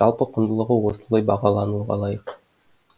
жалпы құндылығы осылай бағалануға лайық